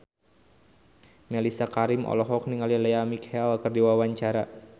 Mellisa Karim olohok ningali Lea Michele keur diwawancara